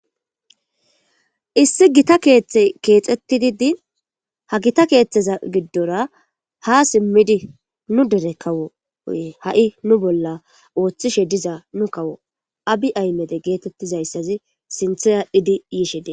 Issi gita keeththe keexettididi ha gita keeththeza giddora ha simmidi nu dere kawo oye ha'i nu bolla ooththishe diza nu kawo abi aymede geetettizayssazi sintheyadhidi yiishe de.